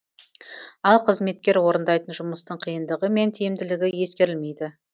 ал қызметкер орындайтын жұмыстың қиындығы мен тиімділігі ескерілмейді